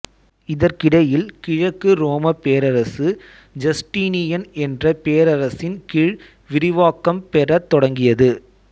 இதற்கிடையில் கிழக்கு ரோமப் பேரரசு ஜஸ்டீனியன் என்ற பேரரசனின் கீழ் விரிவாக்கம் பெறத் தொடங்கியது